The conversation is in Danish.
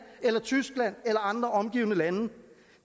eller tyskland eller andre omgivende lande